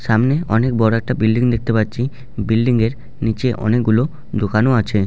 সামনে অনেক বড় একটা বিল্ডিং দেখতে পাচ্ছি বিল্ডিং এর নিচে অনেকগুলো দোকান ও আছে।